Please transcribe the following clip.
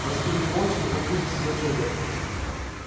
на стуле молча неподвижно сидел человек